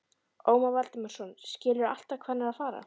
Ómar Valdimarsson: Skilurðu alltaf hvað hann er að fara?